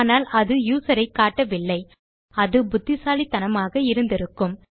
ஆனால் அது யூசர் ஐ காட்டவில்லை அது புத்திசாலித்தனமாக இருந்திருக்கும்